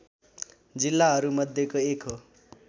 जिल्लाहरूमध्येको एक हो